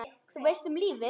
Þú veist, um lífið?